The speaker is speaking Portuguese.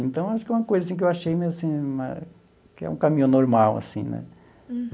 Então, acho que é uma coisa assim que eu achei meio assim que é um caminho normal assim né.